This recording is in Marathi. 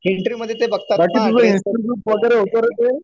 इंटरव्यू मध्ये ते बघतात ना कि असं